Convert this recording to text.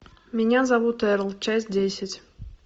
меня зовут эрл часть десять